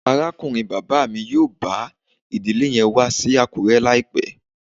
Arakunrin baba mi yoo ba idile yen wa si Akure laipẹ